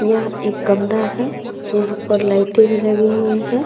यह एक कमरा है यहाँ पर लाइटें भी लगी हुई हैं |